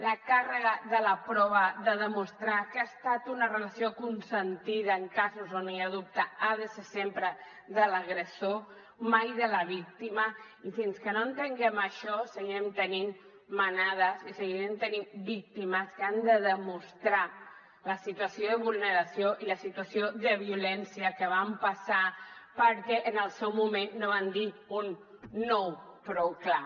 la càrrega de la prova de demostrar que ha estat una relació consentida en casos on hi ha dubte ha de ser sempre de l’agressor mai de la víctima i fins que no entenguem això seguirem tenint manadas i seguirem tenint víctimes que han de demostrar la situació de vulneració i la situació de violència que van passar perquè en el seu moment no van dir un no prou clar